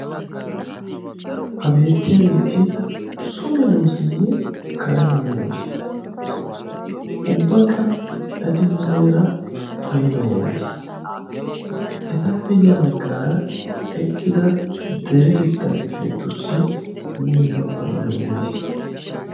ha beettiyaageeti someedooseeyye kare meedoosi ubbakka ati muleera paiduwan woysee etappe guyya baggaara eqqida deretettaa kifiletussi muleera paydoy woysee?